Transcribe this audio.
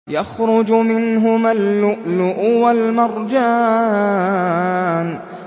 يَخْرُجُ مِنْهُمَا اللُّؤْلُؤُ وَالْمَرْجَانُ